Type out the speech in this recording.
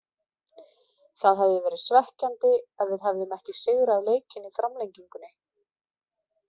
Það hefði verið svekkjandi ef við hefðum ekki sigrað leikinn í framlengingunni.